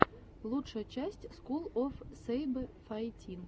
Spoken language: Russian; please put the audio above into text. лучшая часть скул оф сэйбэфайтин